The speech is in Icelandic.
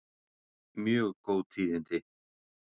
Mjög góð tíðindi